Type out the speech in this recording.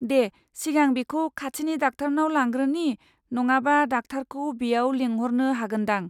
दे सिगां बिखौ खाथिनि डाक्टारनाव लांग्रोनि नङाबा डाक्टारखौ बेयाव लेंहरनो हागोन दां।